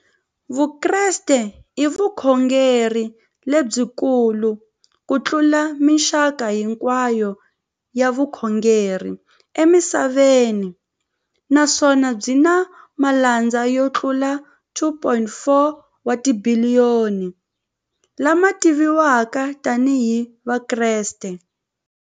Vukreste i vukhongeri lebyi kulu kutlula mixaka hinkwayo ya vukhongeri emisaveni, naswona byi na malandza yo tlula 2.4 wa tibiliyoni, la ma tiviwaka tani hi Vakreste.